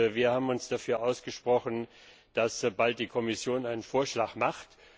Wir haben uns dafür ausgesprochen, dass die Kommission bald einen Vorschlag macht.